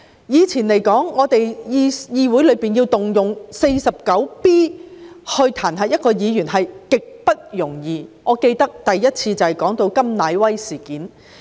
以前，議會要動用《議事規則》第 49B 條彈劾議員是極不容易的，我記得首次引用該條便是為了調查甘乃威事件。